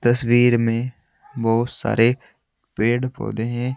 तस्वीर में बहोत सारे पेड़ पौधे हैं।